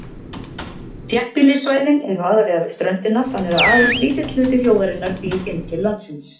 Þéttbýlissvæðin eru aðallega við ströndina, þannig að aðeins lítill hluti þjóðarinnar býr inn til landsins.